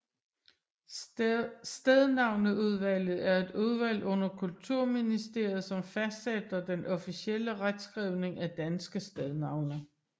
Stednavneudvalget er et udvalg under Kulturministeriet som fastsætter den officielle retskrivning af danske stednavne